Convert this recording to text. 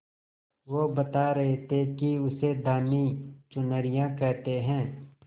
वो बता रहे थे कि उसे धानी चुनरिया कहते हैं